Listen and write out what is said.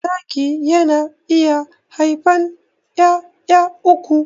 Zaki yana iya haifan 'ya'ya uku.